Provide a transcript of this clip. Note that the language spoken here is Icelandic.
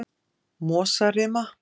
Mosarima